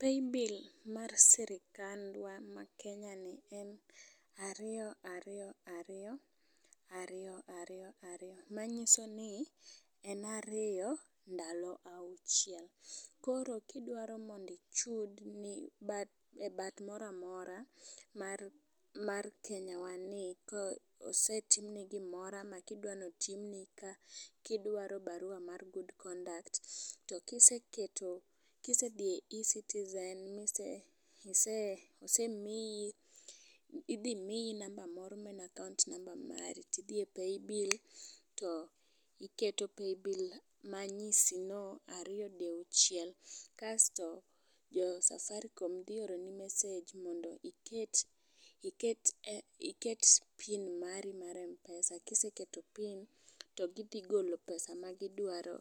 paybill mar sirkand wa ma kenya ni en ariyo ariyo ariyo ariyo ariyo ariyo. Manyiso ni en ariyo ndalo auchiel koro kidwaro mondi ichud e bat mora mora mar kenyawani kosetim ni gimoro ka idwa notim ni kidwari barua mar good conduct, to kiseketo kisedhi ecitizen mise ise isemiyo idhi miyi namba moro maen akaunt mari tidhi e paybill to iketo paybill manyisi no ariyo diuchiel . Kasto jo safarikom dhi oro ni message mondo iket iket pin mari mar mpesa kiseketo pin to gidhi golo pesa ma gidwaro